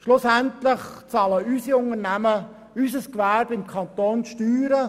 Schlussendlich bezahlen unsere Unternehmen, bezahlt unser Gewerbe im Kanton Bern Steuern;